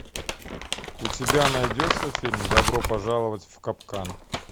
у тебя найдется фильм добро пожаловать в капкан